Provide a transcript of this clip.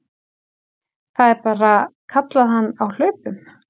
Það er bara, kallaði hann á hlaupunum.